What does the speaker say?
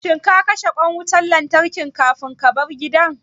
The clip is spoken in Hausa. Shin ka kashe ƙwan wutan lantarkin kafin kabar gida?